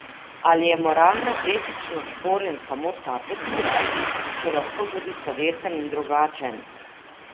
Ali je moralno etično sporen samo ta postopek, ki je lahko tudi slovesen in drugačen?